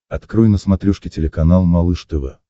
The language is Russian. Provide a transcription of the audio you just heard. открой на смотрешке телеканал малыш тв